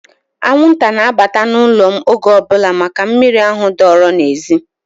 Anwụnta na-abata n'ụlọ m oge ọbụla maka miri ahụ dọọrọ n'ezi.